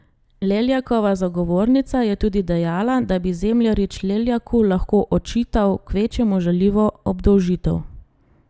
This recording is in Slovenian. Leljakova zagovornica je tudi dejala, da bi Zemljarič Leljaku lahko očital kvečjemu žaljivo obdolžitev.